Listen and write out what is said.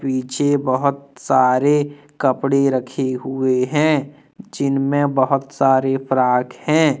पीछे बहोत सारे कपड़े रखे हुए है जिन में बहोत सारे फ्रॉक हैं।